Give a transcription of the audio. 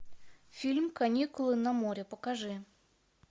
фильм каникулы на море покажи